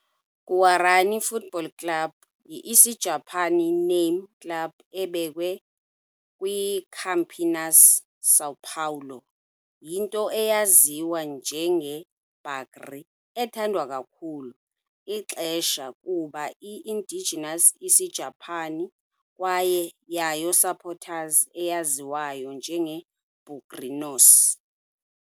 Guarani Futebol Clube yi Isijapani name club ebekwe kwi - Campinas, São Paulo. Yinto eyaziwa njenge Bugre, ethandwa kakhulu ixesha kuba i - Indigenous Isijapani, kwaye yayo supporters eyaziwayo njengoko "bugrinos".